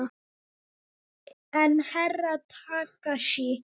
En Herra Takashi?